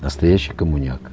настоящий коммуняк